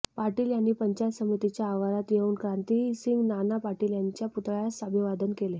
पाटील यांनी पंचायत समितीच्या आवारात येऊन क्रांतिसिंह नाना पाटील यांच्या पुतळ्यास अभिवादन केले